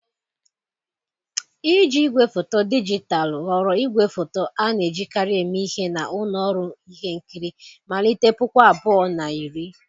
Iji igwefoto dijitalụ ghọrọ igwefoto a na-ejikarị eme ihe na ụlọ ọrụ ihe nkiri, malite puku abụọ na iri.